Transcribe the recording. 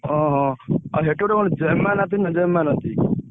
ହଁ ହଁ ଆଉ ସେଠି ଗୋଟେ କଣ ।